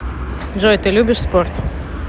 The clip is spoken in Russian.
джой ты любишь спорт